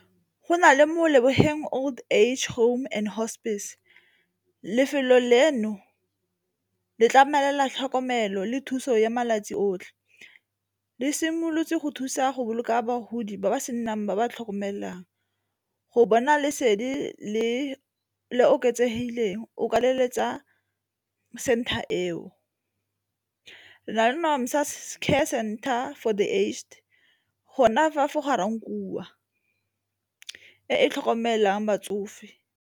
Go na le Molebogeng Old Age Home and Hospice, lefelo leno le tlamela tlhokomelo le thuso ya malatsi otlhe. Le simolotse go thusa go boloka bagodi ba ba senang ba ba tlhokomelang go bona lesedi le le oketsegileng o ka leletsa center eo. Re na le Nomsa's Care Centre for the aged gona fa for Ga-Rankuwa e e tlhokomelang batsofe.